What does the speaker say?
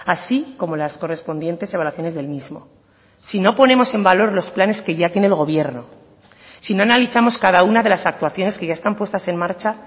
así como las correspondientes evaluaciones del mismo si no ponemos en valor los planes que ya tiene el gobierno si no analizamos cada una de las actuaciones que ya están puestas en marcha